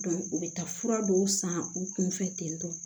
u bɛ taa fura dɔw san u kun fɛ ten tɔ